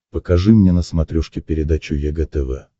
покажи мне на смотрешке передачу егэ тв